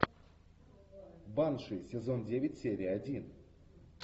банши сезон девять серия один